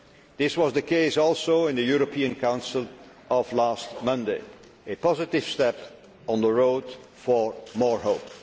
States. This was the case also in the European Council of last Monday a positive step on the road for more hope.